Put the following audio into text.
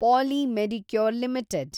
poly Medicure limited